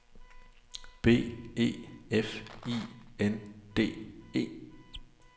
B E F I N D E